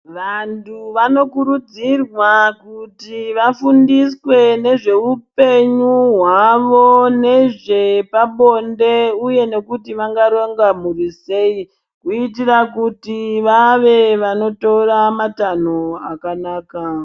Vantu vanokurudzirwa kuti vafundiswe nezveupenyu hwavo nezvepabonde uye nekuti vangaronga mhuri sei kuitira kuti vave vanotora matanho akanaka.